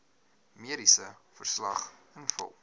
mediese verslag invul